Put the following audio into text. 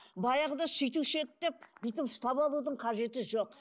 баяғыда сөйтуші едік деп бүйтіп ұстап алудың қажеті жоқ